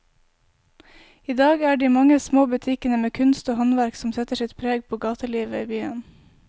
I dag er det de mange små butikkene med kunst og håndverk som setter sitt preg på gatelivet i byen.